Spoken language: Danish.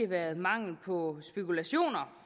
været mangel på spekulationer